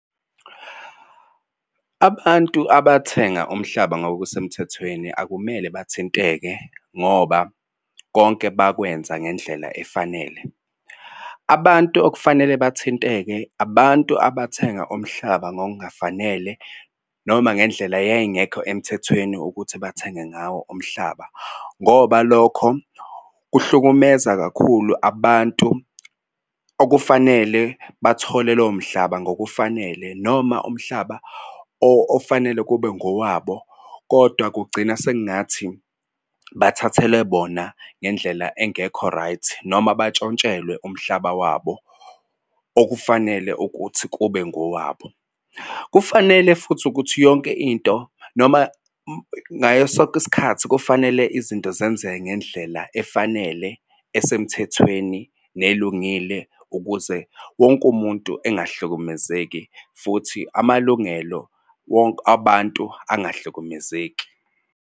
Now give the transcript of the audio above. Abantu abathenga umhlaba ngokusemthethweni akumele bathinteke ngoba konke bakwenza ngendlela efanele. Abantu okufanele bathinteke abantu abathenga umhlaba ngokungafanele noma ngendlela yayingekho emthethweni ukuthi bathenge ngawo umhlaba, ngoba lokho kuhlukumeza kakhulu abantu okufanele bathole lowo mhlaba ngokufanele. Noma umhlaba ofanele kube ngowabo kodwa kugcina sekungathi bathathele bona ngendlela engekho right noma bantshontshelwe umhlaba wabo okufanele ukuth kube ngowabo. Kufanele futhi ukuthi yonke into noma ngayo sonke iskhathi kufanele izinto zenzeke ngendlela efanele esemthethweni nelungile ukuze wonke umuntu engahlukumezeki futhi amalungelo wonke abantu angahlukumezeki.